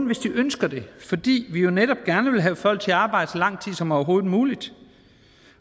hvis de ønsker det fordi vi jo netop gerne vil have folk til at arbejde så lang tid som overhovedet muligt